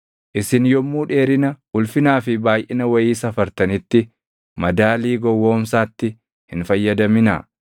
“ ‘Isin yommuu dheerina, ulfinaa fi baayʼina wayii safartanitti madaalii gowwoomsaatti hin fayyadaminaa.